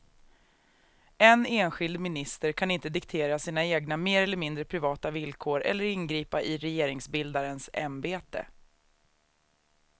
En enskild minister kan inte diktera sina egna mer eller mindre privata villkor eller ingripa i regeringsbildarens ämbete.